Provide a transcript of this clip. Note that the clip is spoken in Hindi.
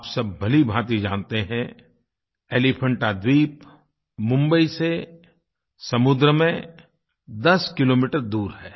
आप सब भलीभाँति जानते हैं एलीफेंटा द्वीप मुंबई से समुद्र में दस किलोमीटर दूर है